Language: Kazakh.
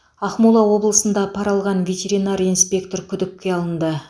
ақмола облысында пара алған ветеринар инспектор күдікке алынды